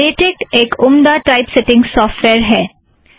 LaTeX एक उम्दा typesetting software है